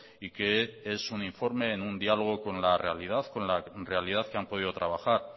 y que es un informe en un diálogo con la realidad con la realidad que han podido trabajar